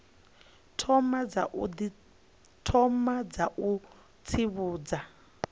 thoma dza u tsivhudza i